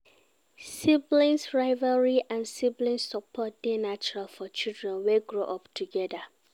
Sibling rivalry and sibling support dey natural for children wey grow up together